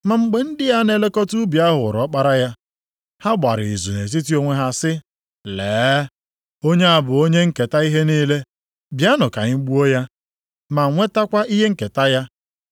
“Ma mgbe ndị na-elekọta ubi ahụ hụrụ ọkpara ya, ha gbara izu nʼetiti onwe ha sị, ‘Lee! Onye a bụ onye nketa ihe niile. Bịanụ ka anyị gbuo ya, ma nwetakwa ihe nketa ya.’